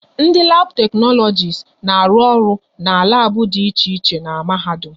Ndị labu teknologisi na-arụ ọrụ n'labu dị iche iche n'mahadum